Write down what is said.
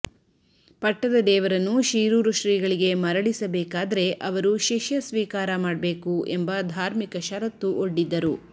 ಪಟ್ಟದದೇವರನ್ನು ಶೀರೂರು ಶ್ರೀಗಳಿಗೆ ಮರಳಿಸಬೇಕಾದ್ರೆ ಅವರು ಶಿಷ್ಯ ಸ್ವೀಕಾರ ಮಾಡ್ಬೇಕು ಎಂಬ ಧಾರ್ಮಿಕ ಶರತ್ತು ಒಡ್ಡಿದ್ದರು